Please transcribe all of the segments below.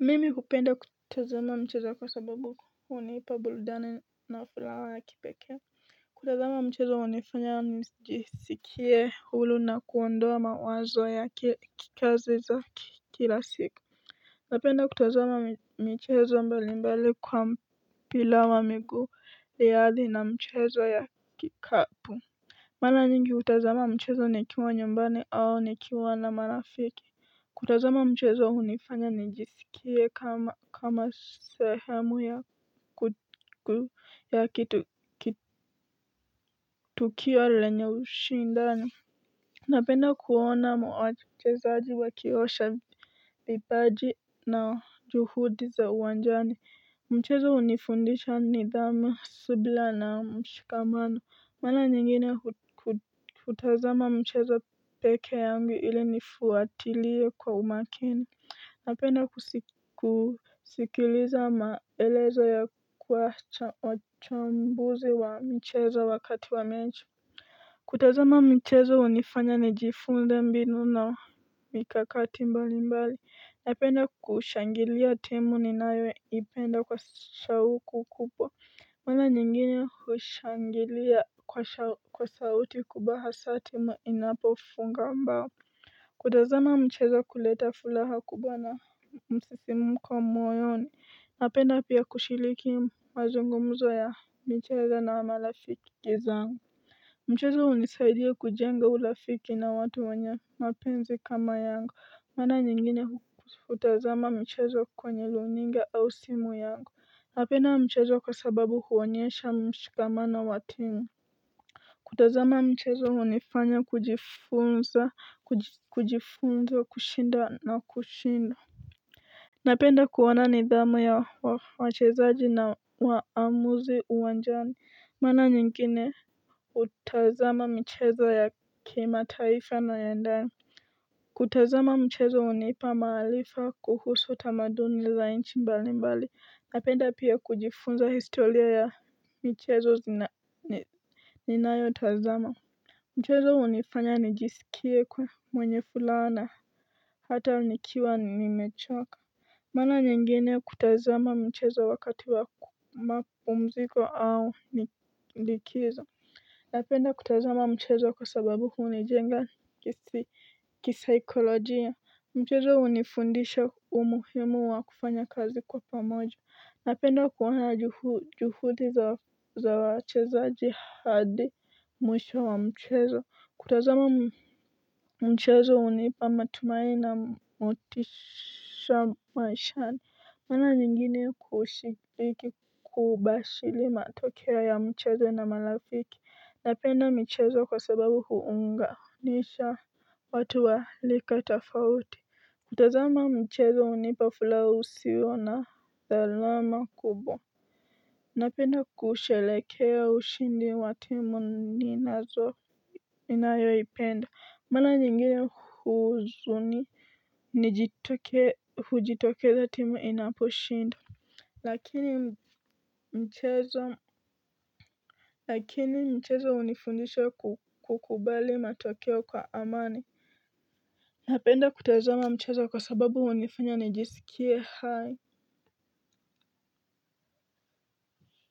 Mimi hupenda kutazama mchezo kwa sababu hunipa burudani na furaha ya kipekee. Kutazama mchezo hunifanya nijisikie huru na kuondoa mawazo ya kikazi za kila siku. Napenda kutazama michezo mbalimbali kwa mpira wa miguu ilhali na mchezo ya kikapu. Mara nyingi hutazama mchezo nikiwa nyumbani au nikiwa na marafiki. Kutazama mchezo hunifanya nijisikie kama sehemu kila kitu, tukio lenye ushindani. Napenda kuona mchezaji wakiosha vibaji na juhudi za uwanjani. Mchezo hunifundisha nidhamu subila na mshikamano mara nyingine hu hutazama mchezo pekee yangu ili nifuatilie kwa umakini. Napenda kusikiliza maelezo ya kwa chambuzi wa mchezo wakati wa mechi. Kutazama michezo hunifanya nijifunze mbinu na mikakati mbali mbali. Napenda kushangilia timu ninayoipenda kwa shauku kubwa. Mara nyingine hushangilia kwa sauti kubwa hasaa timu inapofunga mbao. Kutazama mchezo kuleta fulaha kubwa na msisimko moyoni napenda pia kushiliki mazungumzo ya michezo na marafiki zangu. Mchezo hunisaidia kujenga urafiki na watu wenye mapenzi kama yangu, mara nyingine hutazama michezo kwenye runinga au simu yangu. Napenda michezo kwa sababu huonyesha mshikamano wa timu kutazama mchezo hunifanya kujifunza kujifunza kushinda na kushindwa napenda kuona nidhamu ya wachezaji na uamuzi uwanjani mara nyingine, hutazama michezo ya kimataifa na ya ndani kutazama mchezo hunipa maarifa kuhusu tamaduni za inchi mbali mbali napenda pia kujifunza historia ya mchezo zina ninayo tazama. Mchezo hunifanya nijisikie kuwa mwenye furaha na hata nikiwa nimechoka. Mara nyingine kutazama mchezo wakati wako mapumziko au likizo. Napenda kutazama mchezo kwa sababu huni jenga kisaikolojia. Mchezo hunifundisha umuhimu wa kufanya kazi kwa pamoja. Napenda kuona juhudi za wachezaji hadi mwisho wa mchezo. Kutazama mchezo hunipa matumaini na motisha maishani. Mara nyingini kushiriki kubashili matokeo ya mcheza na marafiki. Napenda michezo kwa sababu huunganisha watu wa lika tofauti. Kutazama mchezo hunipa fulaha usio na dhalama kubwa. Napenda kushelekea ushindi wa timu ninazo ninayoipenda mara nyingine huzuni hujitokeza timu inapo shindo. Lakini mchezo lakini mchezo hunifundisha kukubali matokeo kwa amani. Napenda kutazama mchezo kwa sababu hunifanya nijisikie hai.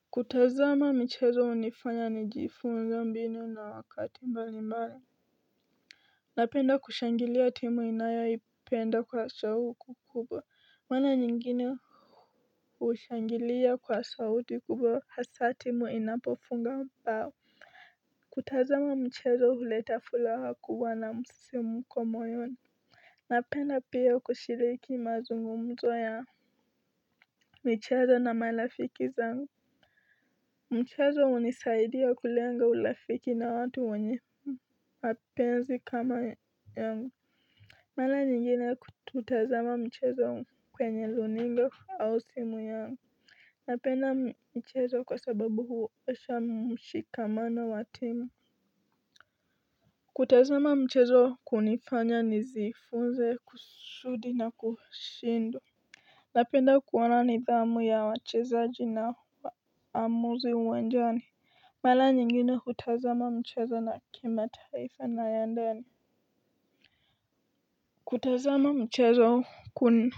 Kutazama michezo hunifanya nijifunze mbinu na wakati mbalimbali. Napenda kushangilia timu ninayo ipenda kwa shauku kubwa mara nyingine hushangilia kwa sauti kubwa hasaa timu inapofunga bao. Kutazama mchezo huleta fulaha kubwa na msisimko moyoni. Napenda pia kushiriki mazungumzo ya michezo na malafiki zangu. Mchezo hunisaidi kulenga ulafiki na watu wenye mapenzi kama yangu. Mala nyingine kututazama mchezo kwenye luninga au simu yangu. Napenda mchezo kwa sababu huonesha mshikamana wa timu. Kutazama mchezo kunifanya nijifunze kusudi na kushinda. Napenda kuona nidhamu ya wachezaji na wa amuzi uwanjani. Mala nyingine hutazama mchezo na kimataifa na ya ndani. Kutazama mchezo kuna.